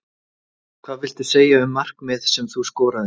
Hvað viltu segja um markið sem þú skoraðir?